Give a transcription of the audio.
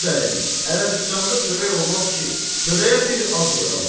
Bəradərim, Ərəbistanda çörək olmaz ki, çörəyə bir ad qoyarlar.